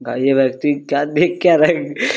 भाई यह व्यक्ति क्या देख क्या रहा है।